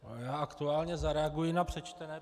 Já aktuálně zareaguji na přečtené.